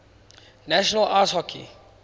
national ice hockey